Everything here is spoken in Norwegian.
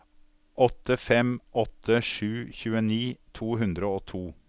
åtte fem åtte sju tjueni to hundre og to